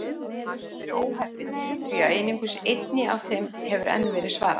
Hann hefur verið óheppinn því að einungis einni af þeim hefur enn verið svarað.